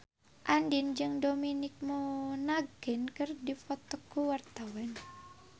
Andien jeung Dominic Monaghan keur dipoto ku wartawan